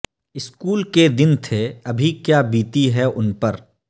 school کے دن تھے ابھی کیا بیتی ہے ان پر